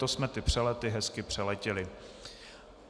To jsme ty přelety hezky přeletěli.